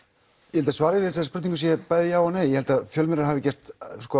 ég held að svarið við þessari spurningu sé bæði já og nei ég held að fjölmiðlar hafi gert